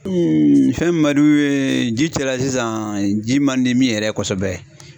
fɛn min man d'u ye ji cɛla sisan ji man di min yɛrɛ ye kosɛbɛ